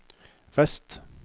vest